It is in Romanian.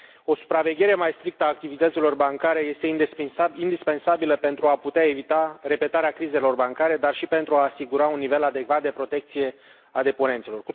O supraveghere mai strictă a activităților bancare este indispensabilă pentru a putea evita repetarea crizelor bancare, dar și pentru a asigura un nivel adecvat de protecție a deponenților.